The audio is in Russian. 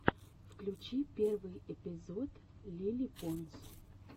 включи первый эпизод лили понс